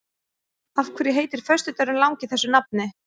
Af hverju heitir föstudagurinn langi þessu nafni?